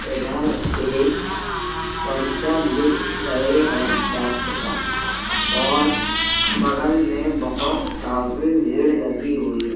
इधर एक पर्चा लिख रहे हैं डॉक्टर साहब और बगल में बहोत सारी भीड़ लगी हुई है।